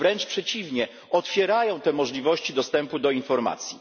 Wręcz przeciwnie otwierają te możliwości dostępu do informacji.